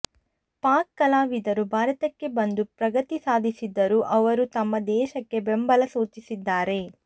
ಪಾಕ್ ಕಲಾವಿದರು ಭಾರತಕ್ಕೆ ಬಂದು ಪ್ರಗತಿ ಸಾಧಿಸಿದ್ದರೂ ಅವರು ತಮ್ಮ ದೇಶಕ್ಕೆ ಬೆಂಬಲ ಸೂಚಿಸಿದ್ದಾರೆ